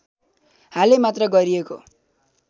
हालै मात्र गरिएको